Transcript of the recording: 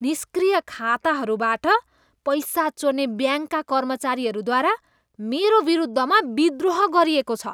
निष्क्रिय खाताहरूबाट पैसा चोर्ने ब्याङ्कका कर्मचारीहरूद्वारा मेरो विरुद्धमा विद्रोह गरिएको छ।